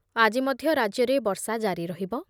ଆଜି ମଧ୍ୟ ରାଜ୍ୟରେ ବର୍ଷା ଜାରି ରହିବ ।